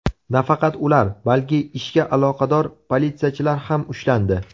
Nafaqat ular, balki ishga aloqador politsiyachilar ham ushlandi.